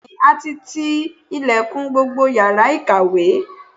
Bẹ́ẹ̀ni, a ti ti ilẹ̀kùn gbogbo yàrá ìkàwé